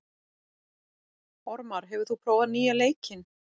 Ormar, hefur þú prófað nýja leikinn?